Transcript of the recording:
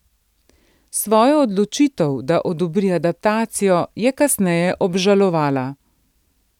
Svojo odločitev, da odobri adaptacijo, je kasneje obžalovala.